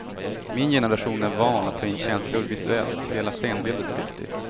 Min generation är van att ta in känslor visuellt, hela scenbilden är viktig.